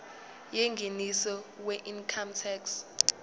yengeniso weincome tax